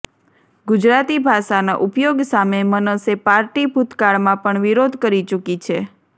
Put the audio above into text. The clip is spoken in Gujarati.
ગુજરાતી ભાષાના ઉપયોગ સામે મનસે પાર્ટી ભૂતકાળમાં પણ વિરોધ કરી ચૂકી છે